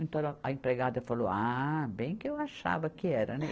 Então a empregada falou, ah, bem que eu achava que era, né.